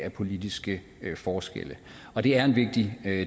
af politiske forskelle og det er en vigtig